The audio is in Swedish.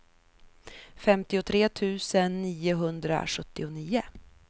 femtiotre tusen niohundrasjuttionio